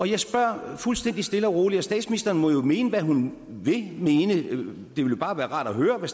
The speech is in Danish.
jeg spørger fuldstændig stille og roligt og statsministeren må jo mene hvad hun vil mene men det ville bare være rart at høre hvad